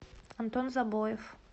антон забоев